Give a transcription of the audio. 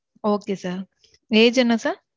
Okay sir. Age என்ன sir?